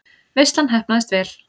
Veislan heppnaðist vel.